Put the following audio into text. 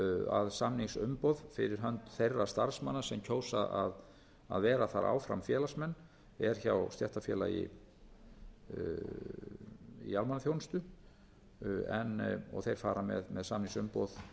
að samningsumboð fyrir hönd þeirra starfsmanna sem kjósa að vera þar áfram félagsmenn er hjá stéttarfélagi í almannaþjónustu þeir fara með samningsumboð